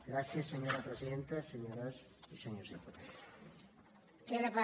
gràcies senyora presidenta senyores i senyors diputats